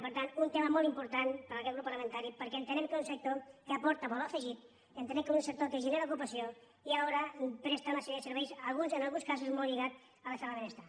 per tant un tema molt important per a aquest grup parlamentari perquè entenem que és un sector que aporta valor afegit entenem que és un sector que genera ocupació i que ara presta una sèrie de serveis en alguns casos molt lligats a l’estat del benestar